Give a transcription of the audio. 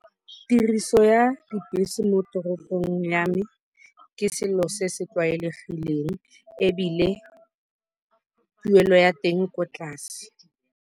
Tiriso ya dibese mo toropong ya me ke selo se se tlwaelegileng ebile tuelo ya teng ko tlase.